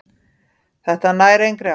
Þetta nær engri átt.